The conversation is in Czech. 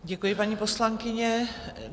Děkuji, paní poslankyně.